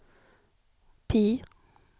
PIE